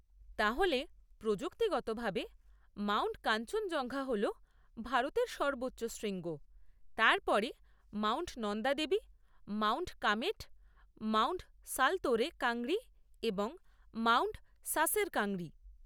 তাহলে, প্রযুক্তিগতভাবে, মাউন্ট কাঞ্চনজঙ্ঘা হল ভারতের সর্বোচ্চ শৃঙ্গ, তার পরে mount Nanda Devi, mount Kamet, mount Saltoro Kangri এবং মাউন্ট সাসের কাংরি।